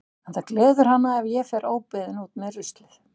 En það gleður hana ef ég fer óbeðin út með ruslið.